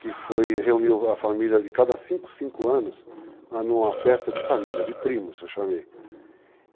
que foi reunir a família de cada cinco, cinco anos numa festa de família, de primos, eu chamei.